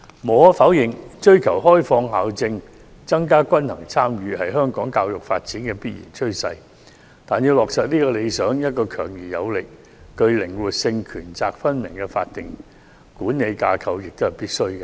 無可否認，追求開放校政，增加均衡參與是香港教育發展的必然趨勢，但要落實這個理想，一個強而有力、具靈活性和權責分明的法定管理架構也是必須的。